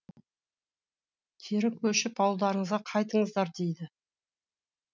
кері көшіп ауылдарыңызға қайтыңыздар дейді